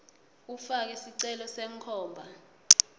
ufake sicelo senkhomba